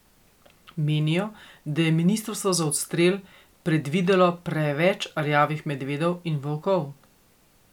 Menijo, da je ministrstvo za odstrel predvidelo preveč rjavih medvedov in volkov.